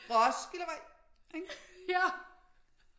Roskildevej ikke